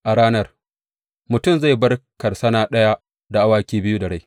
A ranar, mutum zai bar karsana ɗaya da awaki biyu da rai.